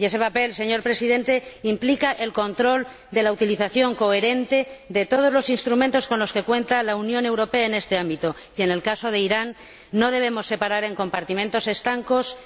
Y ese papel, señor Presidente, implica el control de la utilización coherente de todos los instrumentos con los que cuenta la Unión Europea en este ámbito y, en el caso de Irán, no debemos separar en compartimentos estancos